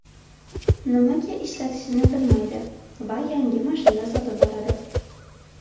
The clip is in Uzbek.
Nimaga ishlatishini bilmaydi va yangi mashina sotib oladi.